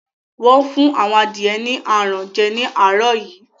Wọ́n fún àwọn adìẹ ni aràn jẹ ní àárọ̀ yìí